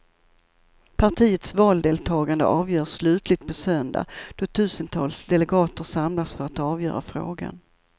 Partiets valdeltagande avgörs slutligt på söndag då tusentals delegater samlas för att avgöra frågan.